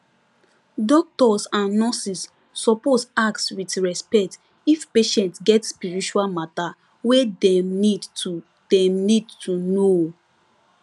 doctors and nurses suppose ask with respect if patient get spiritual matter wey dem need to dem need to know